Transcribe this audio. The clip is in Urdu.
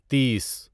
تیس